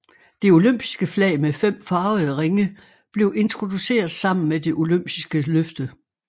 Det olympiske flag med fem farvede ringe blev introduceret sammen med det olympiske løfte